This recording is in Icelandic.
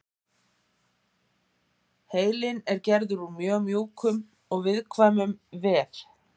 heilinn er gerður úr mjög mjúkum og viðkvæmum vef